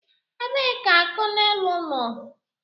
Ebee ka konelu nọ?